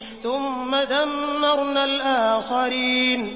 ثُمَّ دَمَّرْنَا الْآخَرِينَ